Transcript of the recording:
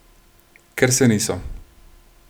Ker se niso.